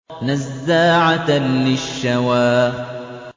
نَزَّاعَةً لِّلشَّوَىٰ